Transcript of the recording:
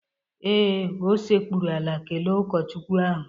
Ee, o sekpụrụ ala kelee ụkọchukwu ahụ